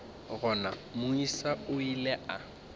gona moisa o ile a